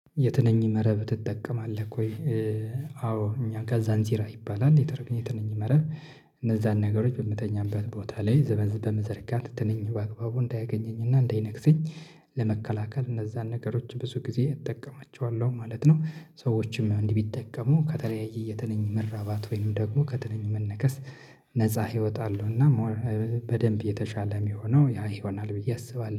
የትንኝ መረብ ትጠቀማለህ ወይ? አዎ እኛ ጋ ዛንዚራ ይባላል የትር የትንኝ መረብ እነዛን ነገሮች በምንተኛበት ቦታ ላይ ዘበዝ በመዘርጋት ትንኝ በአግባቡ እንዳያገኘኝ እና እንዳይነክሰኝ ለመከላከል እነዛን ነገሮች ብዙ ጊዜ እጠቀማቸዋለሁ ማለት ነው። ሰዎችም እንዲህ ቢጠቀሙ ከተለያየ የትንኝ መራባት ወይም ደግሞ ከትንኝ መነከስ ነፃ ህይወት አለውና ሞር በደንብ የተሻለ የሚሆነው ያ ይሆናል ብዬ አስባለሁ።